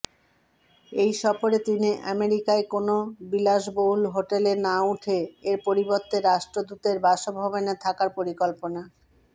এই সফরে তিনি আমেরিকার কোন বিলাসবহুল হোটেলে না উঠে এর পরিবর্তে রাষ্ট্রদূতের বাসভবনে থাকার পরিকল্পনা